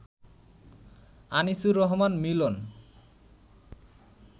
Anisur Rahman Milan